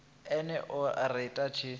ene o ri a tshi